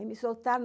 me soltaram.